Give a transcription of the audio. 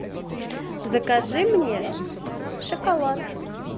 закажи мне шоколад